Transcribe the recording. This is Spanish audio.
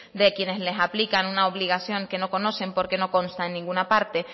de quienes les aplican una obligación que no conocen porque no consta en ninguna parte